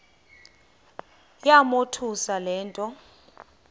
yamothusa le nto